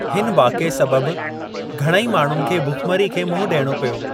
हिन वाक़िए सबबु, घणेई माण्हुनि खे भुखमरी खे मुंहुं डि॒यणो पियो।